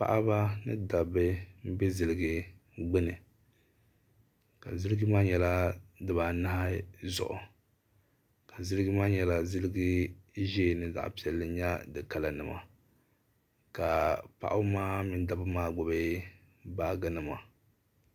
paɣ' ni daba bɛ ziligi gbani ka ziligi maa maa nyɛla din paa di baa nahi zuɣ' ka zilijigi maa nyɛla zilijigi ʒiɛ ni zaɣ' piɛli nyɛ di kalanima ka paba maa mini daba maa gbabi baaji nima